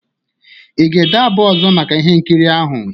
Ị ga-ede abụ ọzọ maka ihe nkiri ahụ?